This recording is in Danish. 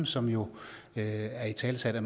som jo er italesat i